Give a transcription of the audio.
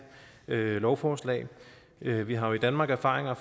lovforslag vi vi har jo i danmark erfaringer